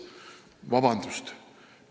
Vabandust!